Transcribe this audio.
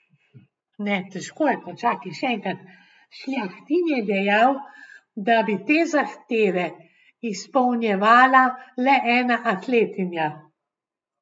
Šljahtin je dejal, da bi te zahteve izpolnjevala le ena atletinja.